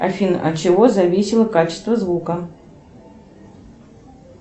афина от чего зависело качество звука